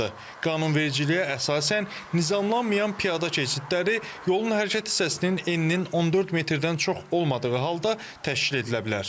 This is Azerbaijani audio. Qanunvericiliyə əsasən, nizamlanmayan piyada keçidləri yolun hərəkət hissəsinin eninin 14 metrdən çox olmadığı halda təşkil edilə bilər.